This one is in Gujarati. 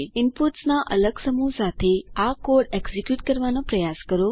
ઇનપુટ્સના અલગ સમૂહ સાથે આ કોડ એક્ઝીક્યુટ કરવાનો પ્રયાસ કરો